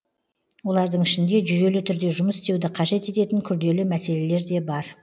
олардың ішінде жүйелі түрде жұмыс істеуді қажет ететін күрделі мәселелер де бар